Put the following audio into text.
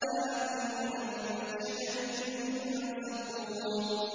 لَآكِلُونَ مِن شَجَرٍ مِّن زَقُّومٍ